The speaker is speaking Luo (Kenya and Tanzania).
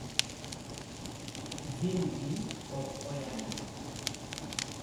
jin gi pok oyangi